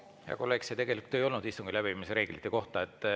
See tegelikult ei olnud istungi läbiviimise reeglite kohta.